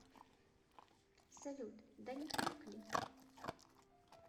салют да не так ли